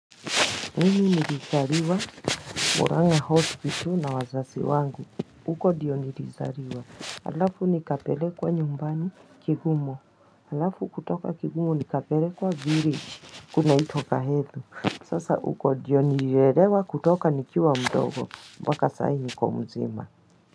Mini nilizaliwa Muranga hospital na wazazi wangu. Huko ndiyo nilizaliwa, alafu nikapelekwa nyumbani kigumo, alafu kutoka kigumo nikapelekwa village kunaitwa kahethu, sasa huko ndiyo nililelewa kutoka nikiwa mdogo, mpaka sai niko mzima.